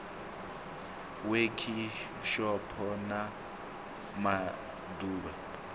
wekhishopho na ma ḓ uvha